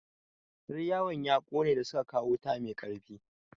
Yar yawon ya ƙone da suka kawo wuta mai ƙarfi.